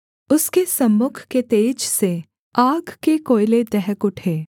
उसके सम्मुख के तेज से आग के कोयले दहक उठे